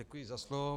Děkuji za slovo.